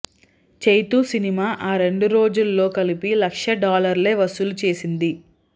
Chaitu cinema ఆ రెండు రోజుల్లో కలిపి లక్ష డాలర్లే వసూలు చేసింది